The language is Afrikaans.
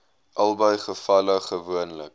albei gevalle gewoonlik